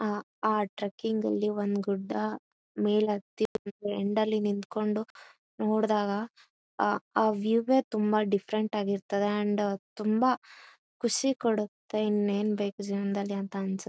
ಆ ಆ ಟ್ರೆಕಿಂಗ್ ಲ್ಲಿ ಒಂದು ಗುಡ್ಡ ಮೇಲೆ ಹತ್ತಿ ಬಂದು ಎಂಡ್ ಲ್ಲಿ ನಿಂತುಕೊಂಡು ನೋಡ್ದಾಗ ಆ ಆ ವ್ಯೂ ಈ ತುಂಬಾ ಡಿಫ್ಫೆರೆಂಟ್ ಆಗಿರ್ತದೆ ಅಂಡ್ ತುಂಬಾ ಖುಷಿ ಕೊಡುತ್ತೆ. ಇನ್ನೇನು ಬೇಕು ಜೀವನದಲ್ಲಿ ಅನಿಸುತ್ತೆ.